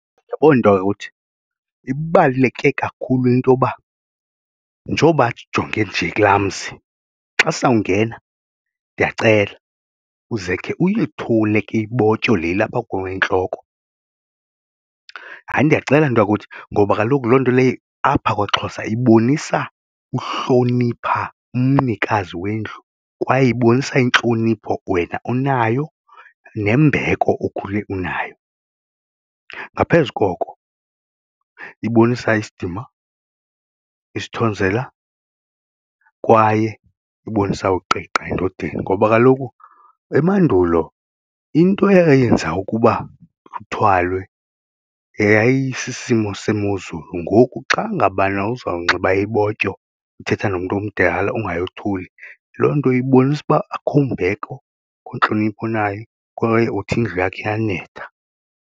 Yabo nto yakuthi ibaluleke kakhulu into yoba njengoba ndijonge nje kulaa mzi xa sawungena ndiyacela uze khe uyethule ke ibotyo le ilapha kuwe entloko, hayi ndiyacela nto yakuthi ngoba kaloku loo nto leyo apha kwaXhosa ibonisa uhlonipha umnikazi wendlu kwaye ibonisa intlonipho wena onayo nembeko okhule unayo, ngaphezu koko ibonisa isidima, isithozela kwaye ibonisa ukuqiqa endodeni ngoba kaloku emandulo into eyenza ukuba kuthwalwe yayisisimo semozulu. Ngoku xa ngabana uzawunxiba ibotyo uthetha nomntu omdala ungayothuli loo nto ibonisa uba akho mbeko, akho ntlonipho onayo kwaye uthi indlu yakhe iyanetha.